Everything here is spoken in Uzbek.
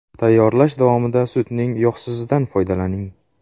Tayyorlash davomida sutning yog‘sizidan foydalaning.